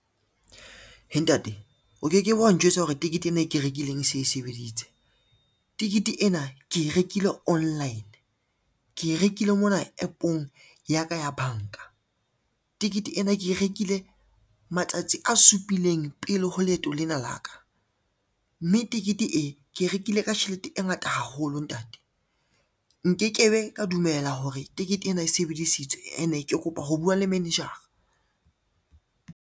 Heh ntate o ke ke be wa njwetsa hore tekete ena e ke rekileng e se e sebeditse. Tekete ena ke e rekile online, ke e rekile mona app-ong ya ka ya banka. Tekete ena ke e rekile matsatsi a supileng pele ho leeto lena la ka, mme tekete e ke e rekile ka tjhelete e ngata haholo ntate. Nke ke be ka dumela hore tekete ena e sebedisitswe ene ke kopa ho bua le manager-a.